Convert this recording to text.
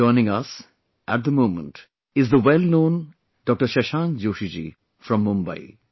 Joining us, at the moment, is the well known Dr Shashank Joshi ji from Mumbai